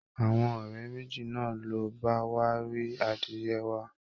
Àwọn ọ̀rẹ́ méjì náà ló bá wá rí adìyẹ wa